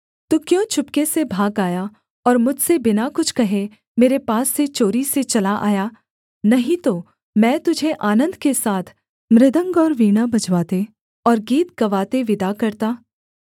तू क्यों चुपके से भाग आया और मुझसे बिना कुछ कहे मेरे पास से चोरी से चला आया नहीं तो मैं तुझे आनन्द के साथ मृदंग और वीणा बजवाते और गीत गवाते विदा करता